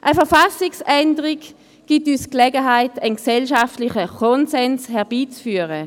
Eine Verfassungsänderung gibt uns die Gelegenheit, einen gesellschaftlichen Konsens herbeizuführen.